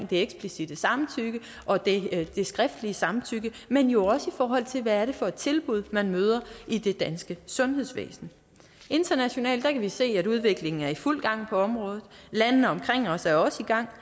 det eksplicitte samtykke og det skriftlige samtykke men jo også i forhold til hvad det er for tilbud man møder i det danske sundhedsvæsen internationalt kan vi se at udviklingen er i fuld gang på området landene omkring os er også i gang